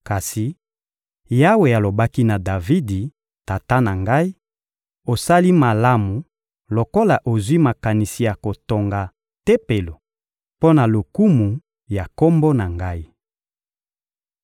Kasi Yawe alobaki na Davidi, tata na ngai: «Osali malamu lokola ozwi makanisi ya kotonga Tempelo mpo na lokumu ya Kombo na Ngai.